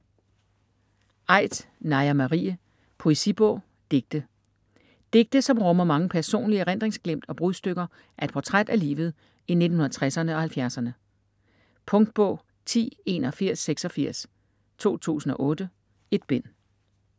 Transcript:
Aidt, Naja Marie: Poesibog: digte Digte som rummer mange personlige erindringsglimt og brudstykker af et portræt af livet i 1960'erne og 1970'erne. Punktbog 108146 2008. 1 bind.